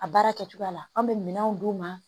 A baara kɛcogoya la an bɛ minɛnw d'u ma